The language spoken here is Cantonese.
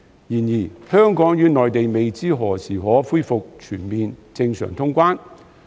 然而，香港與內地未知何時可恢復全面正常通關。